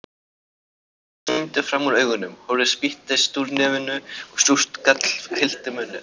Tárin streymdu fram úr augunum, horið spýttist úr nefinu og súrt gall fyllti munninn.